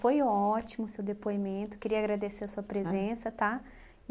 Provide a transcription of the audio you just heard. Foi ótimo o seu depoimento, queria agradecer a sua presença, tá?